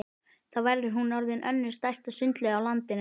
Þá var hún orðin önnur stærsta sundlaug á landinu.